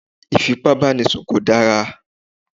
Ìfípábánisùn kò dára